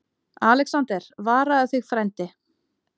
ALEXANDER: Varaðu þig, frændi.